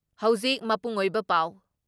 ꯍꯧꯖꯤꯛ ꯃꯄꯨꯡ ꯑꯣꯏꯕ ꯄꯥꯎ ꯫